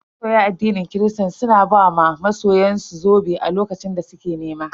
Mabiya addinin kirista suna ba wa masoyan su zobe a lokacin da suke nema.